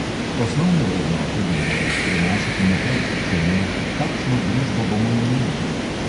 Osnovne vrednote bi morali prenašati naprej, če ne, kakšno družbo bomo imeli?